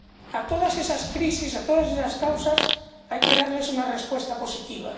A todas esas crisis, a todas esas causas, hay que darles una respuesta positiva.